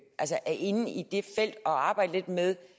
inde i det felt og arbejder lidt med